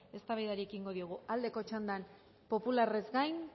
eztabaidari ekingo diogu aldeko txandan popularrez gain